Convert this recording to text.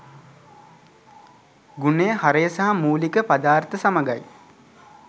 ගුණය හරය සහ මූලික පදාර්ථ සමගයි.